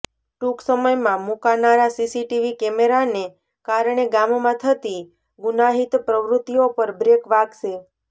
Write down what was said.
ટૂંક સમયમાં મુકાનારા સીસીટીવી કેમેરાને ેકારણે ગામમાં થતી ગુનાહીત પ્રવૃત્તિઓ પર બ્રેક વાગશે